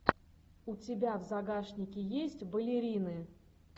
у тебя в загашнике есть балерины